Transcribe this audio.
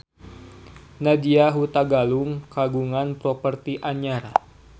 Nadya Hutagalung kagungan properti anyar